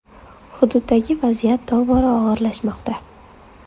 Hududdagi vaziyat tobora og‘irlashmoqda.